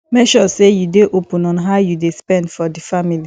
make sure say you de open on how you de spend for di family